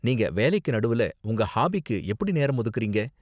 நீங்க வேலைக்கு நடுவுல உங்க ஹாபிக்கு எப்படி நேரம் ஒதுக்கறீங்க?